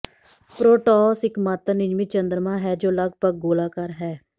Proteus ਇਕਮਾਤਰ ਨਿਯਮਿਤ ਚੰਦਰਮਾ ਹੈ ਜੋ ਲਗਭਗ ਗੋਲਾਕਾਰ ਹੈ